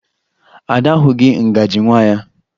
Ada ahụghị ngaji nwa ya